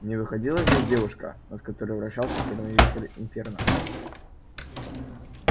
не выходила здесь девушка над которой вращался чёрный вихрь инферно